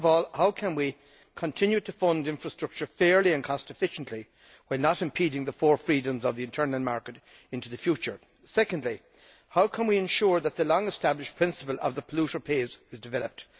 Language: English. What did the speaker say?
First of all, how can we continue to fund infrastructure fairly and cost efficiently while not impeding the four freedoms of the internal market into the future? Secondly, how can we ensure that the long established principle of the polluter pays' is developed?